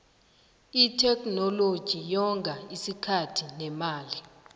itheknoloji yonga isikhathi nemali